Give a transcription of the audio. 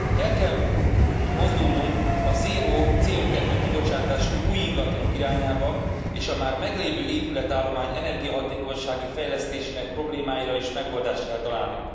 El kell mozdulnunk a zéró CO kibocsátású új ingatlanok irányába és a már meglévő épületállomány energiahatékonysági fejlesztésének problémáira is megoldást kell találni.